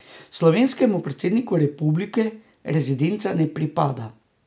Slovenskemu predsedniku republike rezidenca ne pripada.